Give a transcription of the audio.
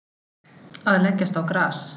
Að leggjast á gras